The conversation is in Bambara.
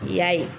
I y'a ye